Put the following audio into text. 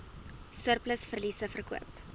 surplus verliese verkoop